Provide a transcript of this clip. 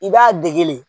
I b'a dege de